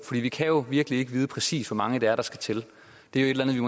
vi kan jo virkelig ikke vide præcis hvor mange det er der skal til det er jo